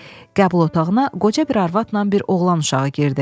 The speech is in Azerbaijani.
Qəbul otağına qoca bir arvadla bir oğlan uşağı girdi.